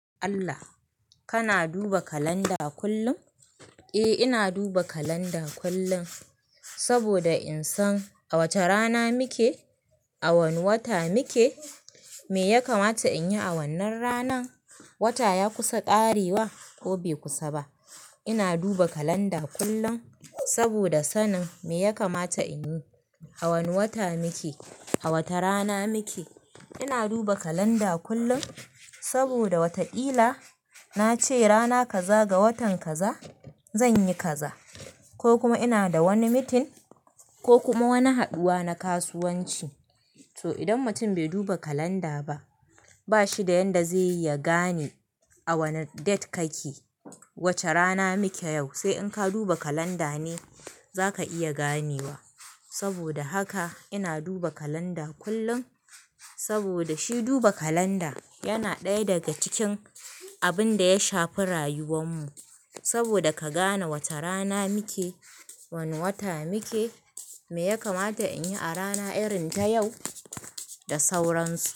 Allah, kana duba calender kullum? Eh, ina duba calendar kullum saboda in san a wace rana muke, a wane wata muke, me ya kamata in yi a wannan ranan, wata ya kusa ƙarewa ko bai kusa ba. Ina duba kalanda kullum saboda sanin me ya kamata in yi, a wane wata muke, a wata rana muke. Ina duba kalanda kullum saboda watakila na ce rana kaza ga watan kaza zan yi kaza ko kuma ina da wani meeting ko kuma wani haduwa na kasuwanci. To idan mutum bai duba calender ba, ba shi da yadda zai yiya gane a wane date kake, wace rana muke yau, sai in ka duba calender ne za ka iya ganewa. Saboda haka ina duba kalanda kullum saboda shi duba kalanda yana ɗaya daga cikin abin da ya shafi rayuwar mu saboda ka gane wace rana muke, wane wata muke, me ya kamata in yi a rana irin ta yau da sauransu.